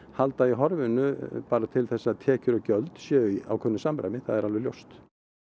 halda í horfinu bara til þess að tekjur og gjöld séu í ákveðnu samræmi það er alveg ljóst